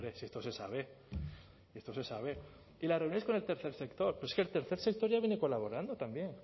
si esto se sabe esto se sabe y las reuniones con el tercer sector pero es que el tercer sector ya viene colaborando también